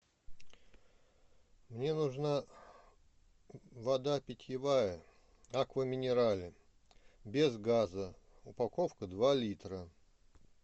мне нужна вода питьевая аква минерале без газа упаковка два литра